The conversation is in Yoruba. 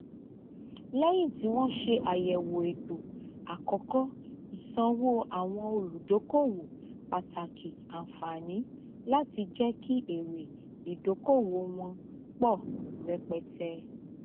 lẹyìn tí wọn ṣe àyẹwò ètò àkókò ìsanwó àwọn olùdókòwò pàtàkì ànfààní láti jẹ kí èrè ìdókòwò wọn pọ rẹpẹtẹ